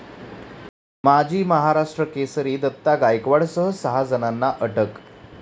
माजी महाराष्ट्र केसरी दत्ता गायकवाडसह सहा जणांना अटक